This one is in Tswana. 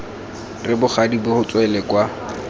re bogadi bo tswele kwa